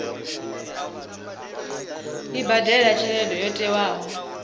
i badele tshelede yo tiwaho